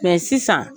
Mɛ sisan